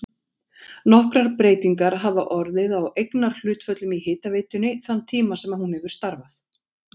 Nokkrar breytingar hafa orðið á eignarhlutföllum í hitaveitunni þann tíma sem hún hefur starfað.